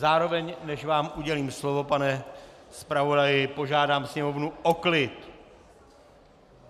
Zároveň, než vám udělím slovo, pane zpravodaji, požádám sněmovnu o klid.